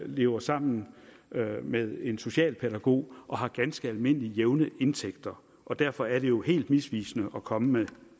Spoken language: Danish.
lever sammen med en socialpædagog og har ganske almindelige og jævne indtægter derfor er det jo helt misvisende at komme med